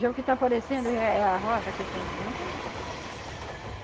Já o que tá aparecendo é é a roça que sempre não querem.